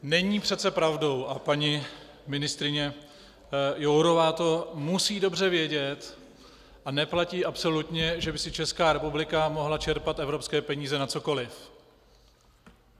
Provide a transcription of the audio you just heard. Není přece pravdou, a paní ministryně Jourová to musí dobře vědět, a neplatí absolutně, že by si Česká republika mohla čerpat evropské peníze na cokoliv.